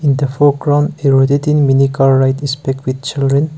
the foreground mini car ride is picked with children.